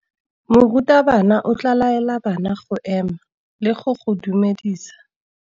Morutabana o tla laela bana go ema le go go dumedisa.